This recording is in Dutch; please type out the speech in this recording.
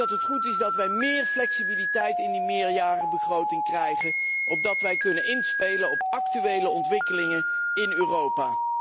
Wij moeten meer flexibiliteit in die meerjarige begroting krijgen opdat wij kunnen inspelen op actuele ontwikkelingen in Europa.